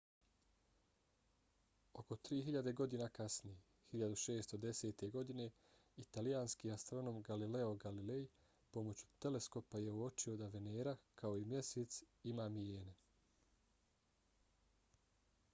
oko tri hiljade godina kasnije 1610. godine italijanski astronom galileo galilei pomoću teleskopa je uočio da venera kao i mjesec ima mijene